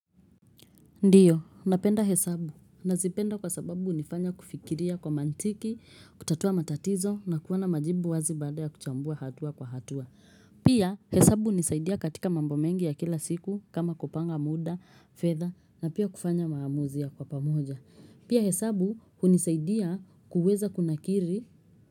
Ndiyo, napenda hesabu. Nazipenda kwa sababu hunifanya kufikiria kwa mantiki. Kutatua matatizo na kuwa na majibu wazi baada ya kuchambua hatua kwa hatua. Pia, hesabu hunisaidia katika mambo mengi ya kila siku kama; kupanga muda, fedha na pia kufanya maamuzi kwa pamoja. Pia hesabu hunisaidia kuweza kunakiri.